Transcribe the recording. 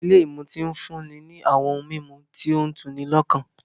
Ilé ìmutí ń fúnni ní àwọn ohun mímu tó tu'ni lọ́kàn